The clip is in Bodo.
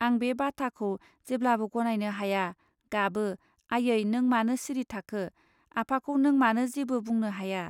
आं बे बाथाखौ जेब्लाबो गनायनो हाया गाबो आयै नों मानो सिरि थाखो? आफाखौ नों मानो जेबो बुंनो हाया